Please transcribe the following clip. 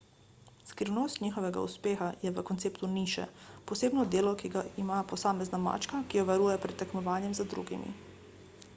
skrivnost njihovega uspeha je v konceptu niše posebno delo ki ga ima posamezna mačka ki jo varuje pred tekmovanjem z drugimi